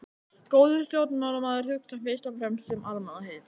Góður stjórnmálamaður hugsar fyrst og fremst um almannaheill.